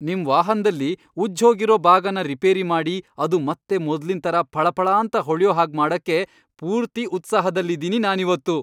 ನಿಮ್ ವಾಹನ್ದಲ್ಲಿ ಉಜ್ಜ್ಹೋಗಿರೋ ಭಾಗನ ರಿಪೇರಿ ಮಾಡಿ ಅದು ಮತ್ತೆ ಮೊದ್ಲಿನ್ ಥರ ಫಳಫಳಾಂತ ಹೊಳ್ಯೋ ಹಾಗ್ ಮಾಡಕ್ಕೆ ಪೂರ್ತಿ ಉತ್ಸಾಹದಲ್ಲಿದೀನಿ ನಾನಿವತ್ತು!